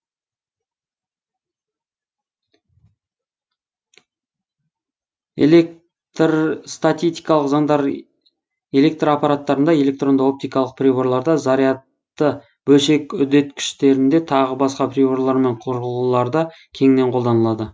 электрстатикалық заңдары электр аппараттарында электронды оптикалық приборларда зарядты бөлшек үдеткіштерінде тағы басқа приборлар мен құрылғыларда кеңінен қолданылады